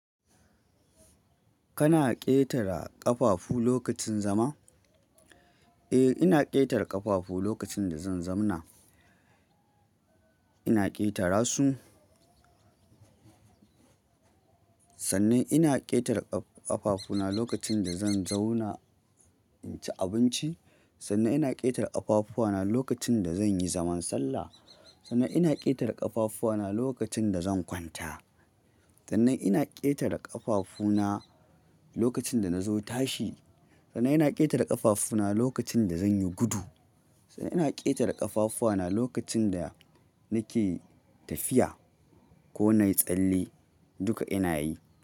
Kana ƙetara ƙafafu lokacin zama? Eh, ina ƙetara ƙafafu lokacin da zan zam na. Ina ƙetara su. Sannan ina ƙetar ƙa-ƙafafuna lokacin da zan zauna inci abinci. Sannan ina ƙetara ƙafafuna lokacin da zan yi zaman sallah. Sannan ina ƙetar ƙafafuna lokacin da zan kwanta. Sannan ina ƙetara ƙafafuna lokacin da na zo tashi. Sannan ina ƙetar ƙafafuna lokacin da zan yi gudu. Sannan ina ƙetara ƙafafuna lokacin da nake tafiya ko na yi tsalle. Duka ina yi.